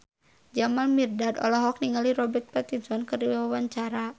Jamal Mirdad olohok ningali Robert Pattinson keur diwawancara